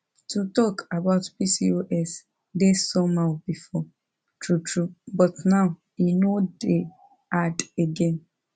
to talk about pcos dey somehow before true true but now e no dey hard again